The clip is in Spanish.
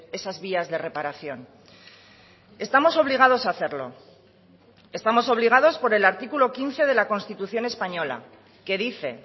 esas vías de reparación estamos obligados a hacerlo estamos obligados por el artículo quince de la constitución española que dice